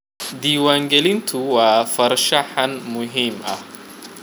Diiwaangelintu waa farshaxan muhiim ah.